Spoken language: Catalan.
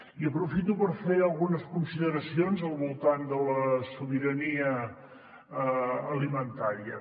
i aprofito per fer algunes consideracions al voltant de la sobirania alimentària